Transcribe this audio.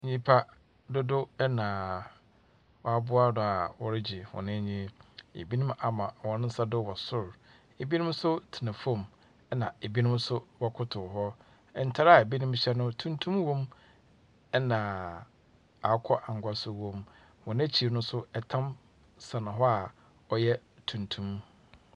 Nnyimpa dodow na wɔaboa do a wɔregye wɔn enyi. Ebinom ama wɔn nsa do wɔ sor. Ebinom nso tena fam. Na binom nso wɔkotow hɔ. Ntar a binom hyɛ no tuntum wɔ mu. Na akokɔangua so wom. Wɔn akyir no nso tam sɛn hɔ a, ɔyɛ tuntum.